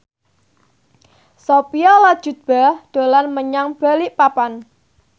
Sophia Latjuba dolan menyang Balikpapan